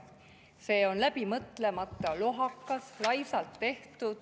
See on läbi mõtlemata, lohakas, laisalt tehtud.